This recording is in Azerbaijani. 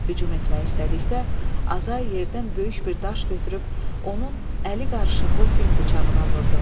Hücum etmək istədikdə, Azay yerdən böyük bir daş götürüb, onun əli qarışıqlı fil bıçağına vurdu.